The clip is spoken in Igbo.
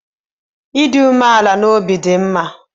Ịdị umeala n'obi dị mma